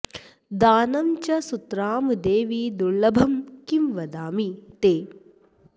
दानं च सुतरां देवि दर्लभं किं वदामि ते